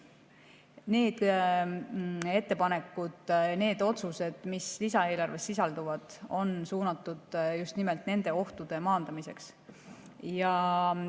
Need ettepanekud, need otsused, mis lisaeelarves sisalduvad, on suunatud just nimelt nende ohtude maandamisele.